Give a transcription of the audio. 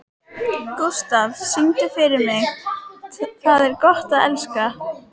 Gústaf, syngdu fyrir mig „Tað er gott at elska“.